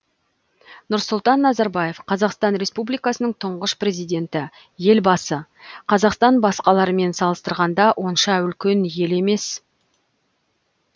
нұрсұлтан назарбаев қазақстан республикасының тұңғыш президенті елбасы қазақстан басқалармен салыстырғанда онша үлкен ел емес